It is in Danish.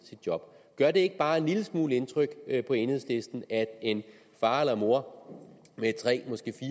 sit job gør det ikke bare en lille smule indtryk på enhedslisten at en far eller mor med tre